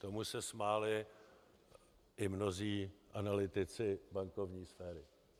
Tomu se smáli i mnozí analytici bankovní sféry.